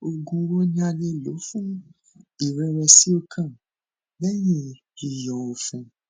oògun wo ni a le lò fún irẹwẹsìọkàn lẹyìñ yíyọ ọfun